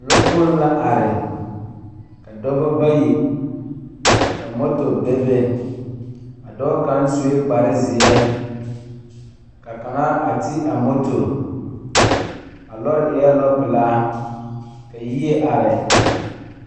Lɔɔkpoŋ la are ka dɔba bayi ka moto bebe a dɔɔ kaŋ sue kparezeɛ ka kaŋa a ti a moto a lɔɔre eɛ lɔɔpelaa ka yie are.